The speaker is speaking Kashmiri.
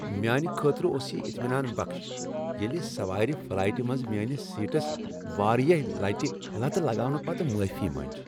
میانہ خٲطرٕ اوس یہ اطمینان بخش ییٚلہ سوارِ فلائٹِہ منز میانس سیٹس واریاہ لٹِہ لتہٕ لگاونہٕ پتہٕ معافی مٕنج۔